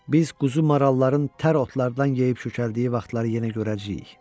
Biz quzu maralların tər otlardan yeyib kökəldiyi vaxtları yenə görəcəyik.